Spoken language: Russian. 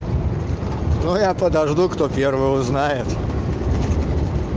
но я подожду кто первый узнает